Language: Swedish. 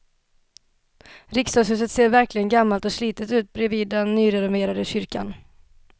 Riksdagshuset ser verkligen gammalt och slitet ut bredvid den nyrenoverade kyrkan.